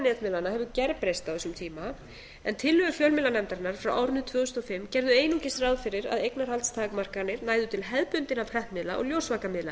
netmiðlanna hefur gerbreyst á þessum tíma en tillögur fjölmiðlanefndarinnar frá árinu tvö þúsund og fimm gerðu einungis ráð fyrir að eignarhaldstakmarkanir næðu til hefðbundinna prentmiðla og ljósvakamiðla